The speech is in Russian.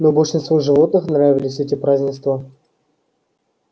но большинству животных нравились эти празднества